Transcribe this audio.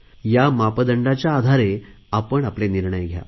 या मापदंडाच्या आधारे आपण आपले निर्णय घ्या